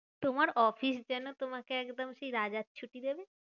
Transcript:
তোমার অফিস যেন তোমাকে একদম সেই রাজার ছুটি দেবে।